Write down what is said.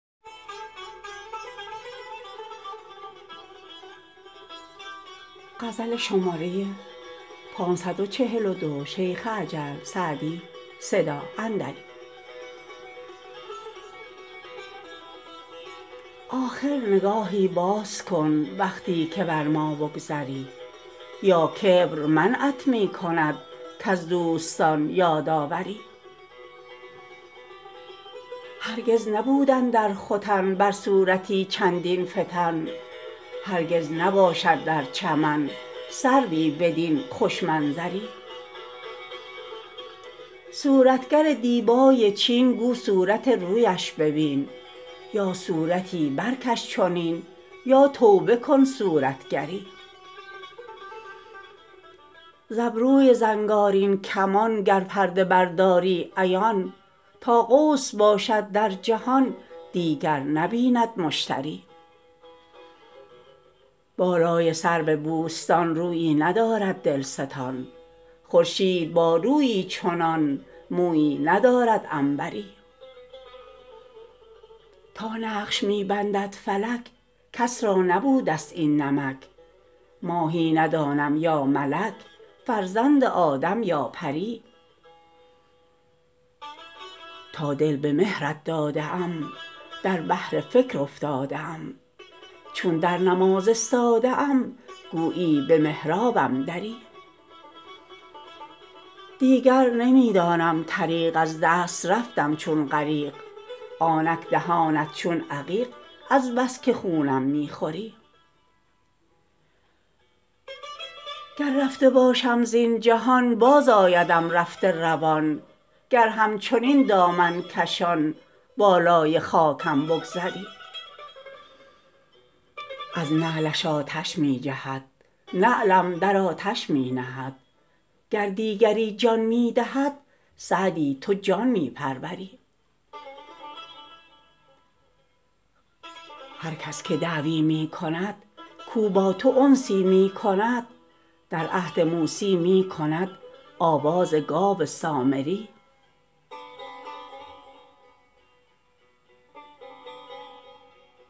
آخر نگاهی باز کن وقتی که بر ما بگذری یا کبر منعت می کند کز دوستان یاد آوری هرگز نبود اندر ختن بر صورتی چندین فتن هرگز نباشد در چمن سروی بدین خوش منظری صورتگر دیبای چین گو صورت رویش ببین یا صورتی برکش چنین یا توبه کن صورتگری ز ابروی زنگارین کمان گر پرده برداری عیان تا قوس باشد در جهان دیگر نبیند مشتری بالای سرو بوستان رویی ندارد دلستان خورشید با رویی چنان مویی ندارد عنبری تا نقش می بندد فلک کس را نبوده ست این نمک ماهی ندانم یا ملک فرزند آدم یا پری تا دل به مهرت داده ام در بحر فکر افتاده ام چون در نماز استاده ام گویی به محرابم دری دیگر نمی دانم طریق از دست رفتم چون غریق آنک دهانت چون عقیق از بس که خونم می خوری گر رفته باشم زین جهان بازآیدم رفته روان گر همچنین دامن کشان بالای خاکم بگذری از نعلش آتش می جهد نعلم در آتش می نهد گر دیگری جان می دهد سعدی تو جان می پروری هر کس که دعوی می کند کاو با تو انسی می کند در عهد موسی می کند آواز گاو سامری